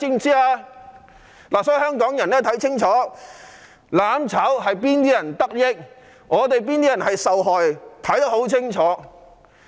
因此，香港人必須看清楚，"攬炒"最終令哪些人得益、哪些人受害。